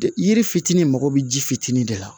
Yiri fitinin mago bɛ ji fitinin de la